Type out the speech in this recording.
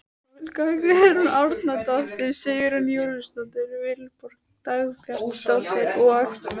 Olga Guðrún Árnadóttir, Sigrún Júlíusdóttir, Vilborg Dagbjartsdóttir og